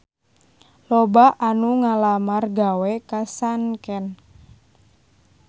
Loba anu ngalamar gawe ka Sanken